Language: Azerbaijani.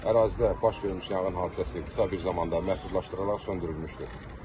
Ərazidə baş vermiş yanğın hadisəsi qısa bir zamanda məhdudlaşdırılaraq söndürülmüşdür.